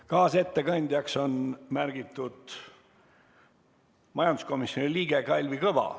Kaasettekandjaks on märgitud majanduskomisjoni liige Kalvi Kõva.